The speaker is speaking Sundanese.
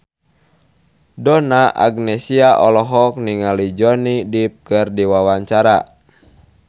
Donna Agnesia olohok ningali Johnny Depp keur diwawancara